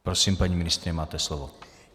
Prosím, paní ministryně, máte slovo.